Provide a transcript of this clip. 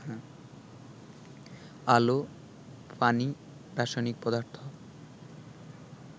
আলো, পানি, রাসায়নিক পদার্থ